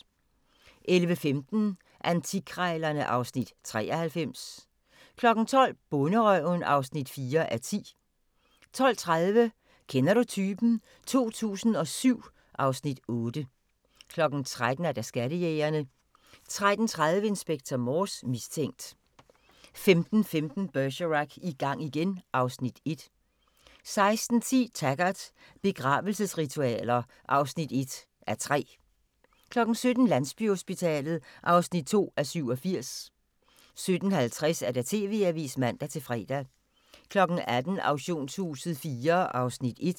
11:15: Antikkrejlerne (Afs. 93) 12:00: Bonderøven (4:10) 12:30: Kender du typen? 2007 (Afs. 8) 13:00: Skattejægerne 13:30: Inspector Morse: Mistænkt 15:15: Bergerac: I gang igen (Afs. 1) 16:10: Taggart: Begravelsesritualer (1:3) 17:00: Landsbyhospitalet (2:87) 17:50: TV-avisen (man-fre) 18:00: Auktionshuset IV (Afs. 1)